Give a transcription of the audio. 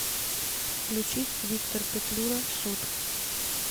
включить виктор петлюра суд